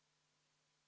Aleksei Jevgrafov, palun!